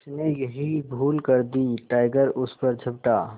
उसने यही भूल कर दी टाइगर उस पर झपटा